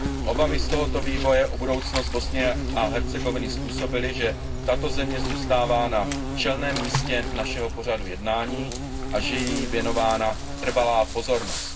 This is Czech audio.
Obavy z tohoto vývoje o budoucnost Bosny a Hercegoviny způsobily, že tato země zůstává na čelném místě našeho pořadu jednání a že je jí věnována trvalá pozornost.